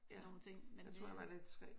Sådan nogle ting men øh